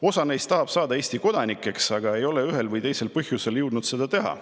Osa neist tahab saada Eesti kodanikeks, aga ei ole ühel või teisel põhjusel jõudnud seda teha.